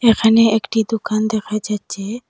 এখানে একটি দুকান দেখা যাচ্ছে।